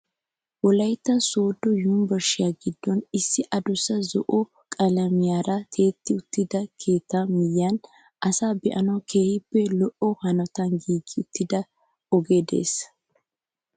Wolaytta sooddo yunburushiyaa giddon issi adussa zo'o qalamiyaara tiyetti uttida keettaa miyiyaan asay baanwu keehippe lo"o hanotan giigi uttida ogee de'ees!